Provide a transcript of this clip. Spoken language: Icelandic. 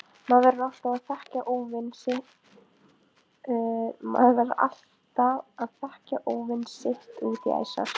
Maður verður alltaf að þekkja óvin sitt út í æsar.